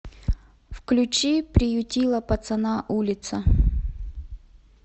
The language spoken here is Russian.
включи приютила пацана улица